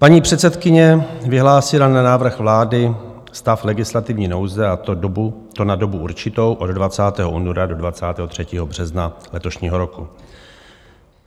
Paní předsedkyně vyhlásila na návrh vlády stav legislativní nouze, a to na dobu určitou od 20. února do 23. března letošního roku.